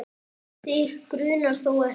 Þig grunar þó ekki?